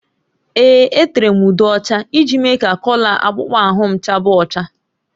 Ee, etere m ude ọcha iji mee ka kọlọ akpụkpọ ahụ m chaba ọcha